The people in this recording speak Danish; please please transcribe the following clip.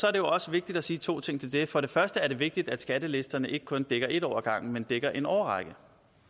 er det også vigtigt at sige to ting til det for det første er det vigtigt at skattelisterne ikke kun dækker en år ad gangen men dækker en årrække